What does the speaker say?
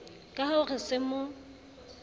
ka ho re se mo